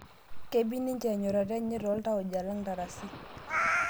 Kebik ninje enyorata enye tooltauja lang' ntarasi